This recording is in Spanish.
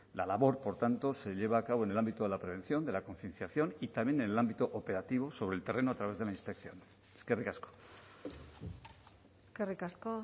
la labor por tanto se lleva a cabo en el ámbito de la prevención de la concienciación y también en el ámbito operativo sobre el terreno a través de la inspección eskerrik asko eskerrik asko